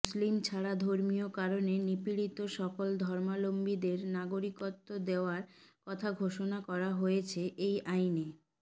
মুসলিম ছাড়া ধর্মীয় কারণে নিপীড়িত সকল ধর্মাবলম্বিদের নাগরিকত্ব দেওয়ার কথা ঘোষণা করা হয়েছে এই আইনে